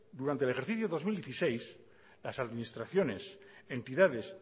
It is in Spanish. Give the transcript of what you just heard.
durante el ejercicio dos mil dieciséis las administraciones entidades